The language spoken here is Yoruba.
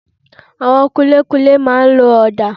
Àwọn kunlékunlé máa n lo ọ̀dà